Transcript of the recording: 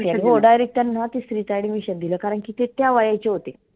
हो direct त्याना तीसरीत admission दिलं कारण की ते त्या वयाचे होते.